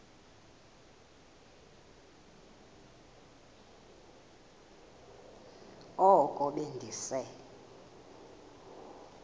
oko be ndise